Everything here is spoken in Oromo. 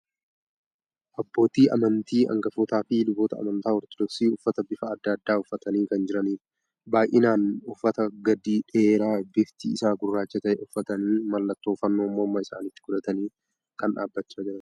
Abbootii amantii, angafootaa fi luboota amantaa Ortoodoksii uffata bifa adda addaa uffatanii kan jiranidha. Baay'inaan uffata gadidheeraa bifti isaa gurraacha ta'e uffatanii, mallattoo fannoo morma isaaniitti godhatanii kan dhaabbachaa jiranidha.